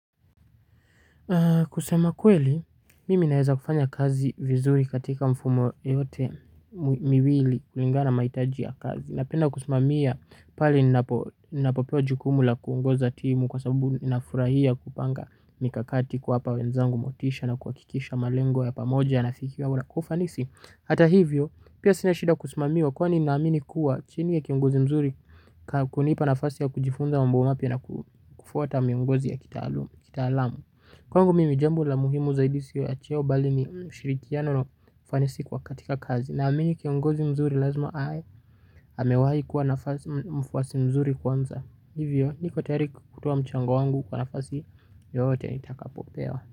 Kusema kweli, mimi naweza kufanya kazi vizuri katika mfumo yote miwili kulingana na mahitaji ya kazi. Napenda kusumamia pali ninapopewa jukumula kuungoza timu kwa sabubu inafurahia kupanga mikakati kwa hapa wenzangu motisha na kuakikisha malengo ya pamoja nafikia wala kufanisi. Hata hivyo, pia sina shida kusimamiwa kwani naamini kuwa chini ya kiongozi mzuri kunipa nafasi ya kujifunza mambo mapya na kufuata miongozi ya kitaalam. Kwangu mimi jambu la muhimu zaidisi ya cheo bali mishiriti ya nono fanisi kwa katika kazi na mimi kiongozi mzuri lazima hae hamewahi kuwa nafasi mfwasi mzuri kwanza hivyo nikotari kutuwa mchango wangu kwa nafasi yote nitakapopewa.